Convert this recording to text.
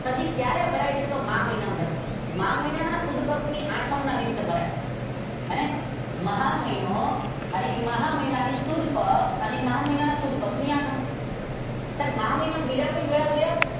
Sir ji ક્યારે ભરાય છે તો કે મહા મહિનામાં ભરાય છે. મહા મહિના ના સુદ પક્ષ ની આઠમ ના દિવસે ભરાય છે. અને મહા મહિનો અને મહા મહિના ની સુડ પક્ષ અને મહા મહિના ની સુદ પક્ષ ની આઠમ. સાહેબ મહા મહિના માં બીજા કોઈ મેળા જોયા?